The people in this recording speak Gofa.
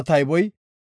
tayboy 3,200.